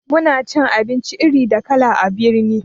Muna cin abinci iri da kala a birni